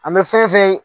An bɛ fɛn fɛn ye